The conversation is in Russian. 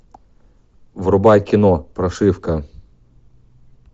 врубай кино прошивка